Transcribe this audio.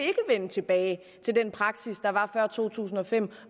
vende tilbage til den praksis der var før to tusind og fem